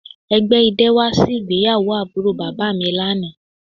Ẹgbẹ idẹ wa si igbeyawo aburo baba mi lana